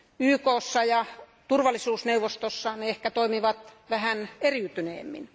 YKssa ja turvallisuusneuvostossa ne ehkä toimivat vähän eriytyneemmin.